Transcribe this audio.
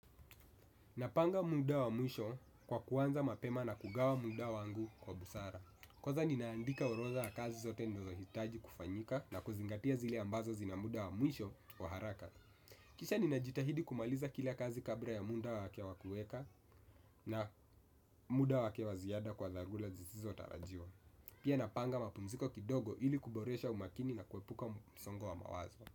Napanga muda wa mwisho kwa kuanza mapema na kugawa muda wangu kwa busara. Kwanza ninaandika urodha ya kazi zote ninazohitaji kufanyika na kuzingatia zile ambazo zina muda wa mwisho kwa haraka. Kisha ninajitahidi kumaliza kila kazi kabla ya muda wa wake wakueka na muda wake wa ziada kwa dharura zisizo tarajiwa. Pia napanga mapumziko kidogo ili kuboresha umakini na kuepuka msongo wa mawazo.